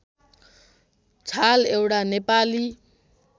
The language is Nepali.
छाल एउटा नेपाली